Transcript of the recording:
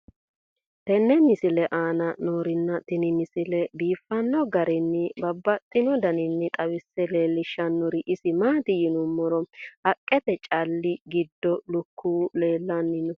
tenne misile aana noorina tini misile biiffanno garinni babaxxinno daniinni xawisse leelishanori isi maati yinummoro haqqette caali giddo lukkuwu leelanni noo.